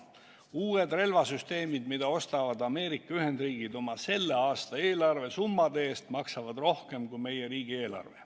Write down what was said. Uued relvasüsteemid, mida ostavad Ameerika Ühendriigid oma selle aasta eelarve summade eest, maksavad rohkem, kui on meie riigieelarve.